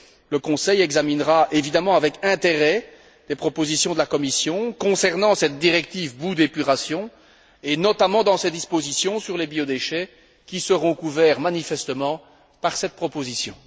Le Conseil examinera évidemment avec intérêt les propositions de la Commission concernant cette directive Boues d'épuration et notamment ses dispositions sur les biodéchets, qui seront couverts manifestement par cette proposition.